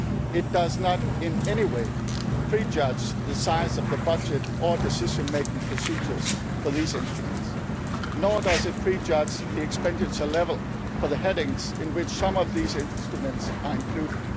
to the placement of instruments. It does not in any way prejudge the size of the budget or decision making procedures for those instruments, nor does it prejudge the expenditure level for the headings in which some of